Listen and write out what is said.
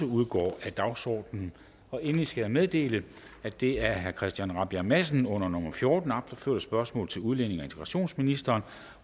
udgår af dagsordenen endelig skal jeg meddele at det af christian rabjerg madsen under nummer fjorten opførte spørgsmål til udlændinge og integrationsministeren